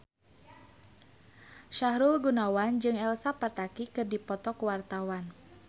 Sahrul Gunawan jeung Elsa Pataky keur dipoto ku wartawan